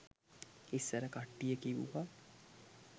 ඉස්සර කට්ටිය කිව්වා